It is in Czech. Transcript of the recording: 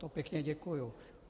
To pěkně děkuju.